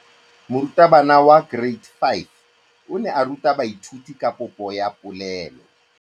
Moratabana wa kereiti ya 5 o ne a ruta baithuti ka popô ya polelô.